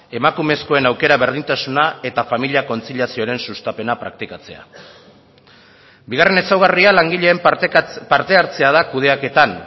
emakumezkoen aukera berdintasuna eta familia kontziliazioaren sustapena praktikatzea bigarren ezaugarria langileen parte hartzea da kudeaketan